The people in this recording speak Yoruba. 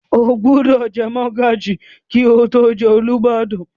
O gbúdọ̀ jẹ mọ́gàjí kí o tó jẹ Olúbàdàn?